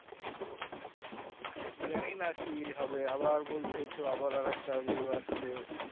জানি না কি হবে আবার বলছে তো আবার একটা কি আসছে